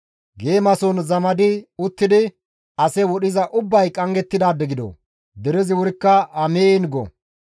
«Geemason zamadi uttidi ase wodhiza ubbay qanggettidaade gido!» Derezi wurikka, «Amiin!» go.